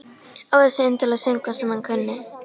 Ó þessir indælu söngvar sem hann kunni.